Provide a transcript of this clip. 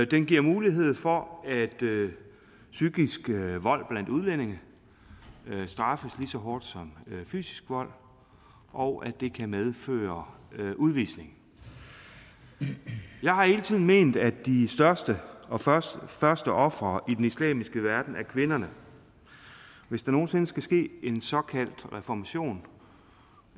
det giver mulighed for at psykisk vold blandt udlændinge straffes lige så hårdt som fysisk vold og det kan medføre udvisning jeg har hele tiden ment at de største og første og første ofre i den islamiske verden er kvinderne hvis der nogen sinde skal ske en såkaldt reformation